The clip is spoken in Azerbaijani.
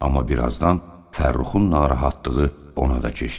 Amma birazdan Fərruxun narahatlığı ona da keçdi.